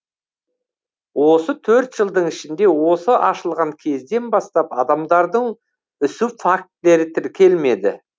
осы төрт жылдың ішінде осы ашылған кезден бастап адамдардың үсу фактілері тіркелмеді